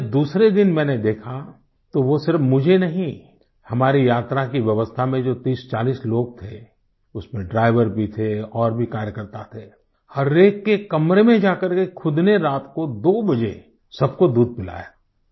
हाँ लेकिन जब दूसरे दिन मैंने देखा वो सिर्फ मुझे ही नहीं हमारी यात्रा की व्यवस्था में जो 3040 लोग थे उसमें ड्राइवर भी थे और भी कार्यकर्ता थे हर एक के कमरे में जाकर के खुद ने रात को 2 बजे सबको दूध पिलाया